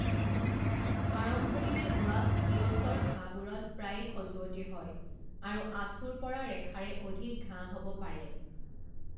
আৰম্ভণিতে হোৱা ইয়'ছৰ ঘাঁবোৰত প্ৰায়ে খজুৱতি হয় আৰু আঁচোৰ পৰা ৰেখাৰে অধিক ঘাঁ হ'ব পাৰে।